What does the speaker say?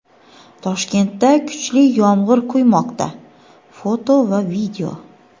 Toshkentda kuchli yomg‘ir quymoqda (foto va video).